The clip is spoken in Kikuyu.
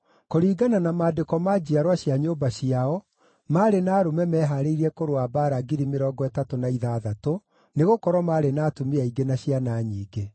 Kũringana na maandĩko ma njiarwa cia nyũmba ciao, maarĩ na arũme mehaarĩirie kũrũa mbaara 36,000, nĩgũkorwo maarĩ na atumia aingĩ na ciana nyingĩ.